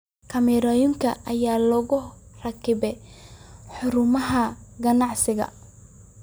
Kaamirooyinka ayaa lagu rakibay xarumaha ganacsiga.